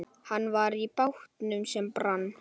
Hann var í bátnum sem brann, sagði Heiða.